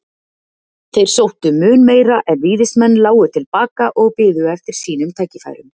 Þeir sóttu mun meira en Víðismenn lágu til baka og biðu eftir sínum tækifærum.